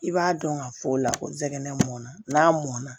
I b'a dɔn ka fɔ o la ko jɛgɛ mɔnna n'a mɔnna